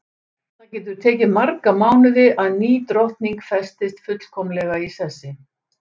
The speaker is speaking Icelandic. Það getur tekið marga mánuði að ný drottning festist fullkomlega í sessi.